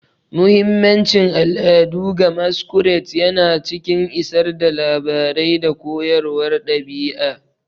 Muhimmancin al'adu ga Masquerades yana cikin isar da labarai da koyarwar ɗabi'a.